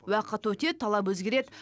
уақыт өтеді талап өзгереді